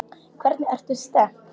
Hvernig ertu stemmd?